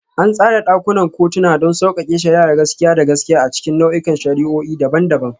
An tsara ɗakunan kotuna don sauƙaƙe shari'ar gaskiya da gaskiya a cikin nau'ikan shari'o'i daban-daban.